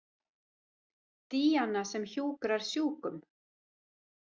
Díana sem hjúkrar sjúkum.